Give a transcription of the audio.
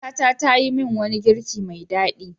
Matata ta yi min wani girki mai daɗi.